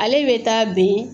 Ale bɛ taa bɛn